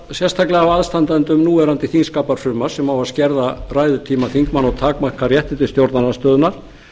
sérstaklega af aðstandendum núverandi þingskapafrumvarps sem á að skerða ræðutíma þingmanna og takmarka réttindi stjórnarandstöðunnar